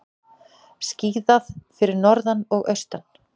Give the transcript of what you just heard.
Skíðað fyrir norðan og austan